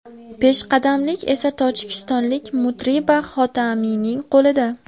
Peshqadamlik esa tojikistonlik Mutriba Xotamiyning qo‘lida.